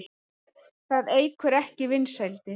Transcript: Það eykur ekki vinsældir.